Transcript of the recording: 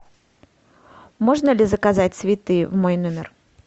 можно ли заказать цветы в мой номер